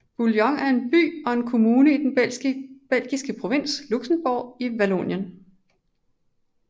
Bouillon er en by og en kommune i den belgiske provins Luxembourg i Vallonien